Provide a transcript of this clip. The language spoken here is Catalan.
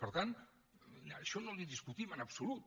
per tant això no li ho discutim en absolut